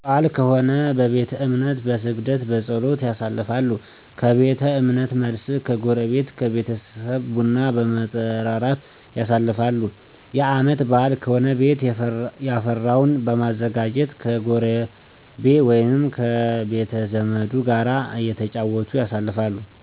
የወር በአል ከሆነ በቤተ እምነት በስግደት፣ በፀሎት፣ ያሳልፋሉ። ከቤተ እምነት መልስ ከጎረቤት ከቤተሰብ ቡና በመጠራራት ያሳልፋሉ። የአመት በአል ከሆነ ቤት የፈራውን በማዘጋጀት ከጎረቤ ወይም ከቤተዘመዱ ጋር እተጫወቱ ያሳልፋሉ።